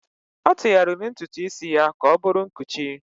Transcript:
ọ tụgharịrị ntutu isi ya ka ọ bụrụ nkụchi